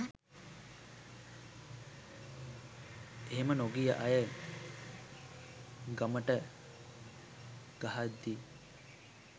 එහෙම නොගිය අය ගමට ගහද්දි